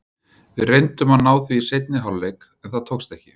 Við reyndum að ná því í seinni hálfleik en það tókst ekki.